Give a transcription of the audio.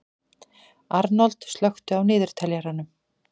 Arnold, slökktu á niðurteljaranum.